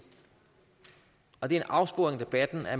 og det er en afsporing af debatten at